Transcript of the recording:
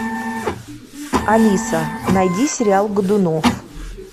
алиса найди сериал годунов